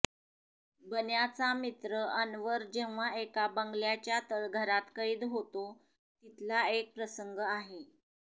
बन्याचा मित्र अन्वर जेव्हा एका बंगल्याच्या तळघरात कैद होतो तिथला एक प्रसंग आहे